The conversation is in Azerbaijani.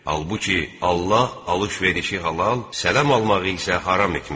Halbuki, Allah alış-verişi halal, sələm almağı isə haram etmişdir.